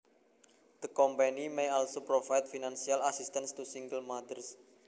The company may also provide financial assistance to single mothers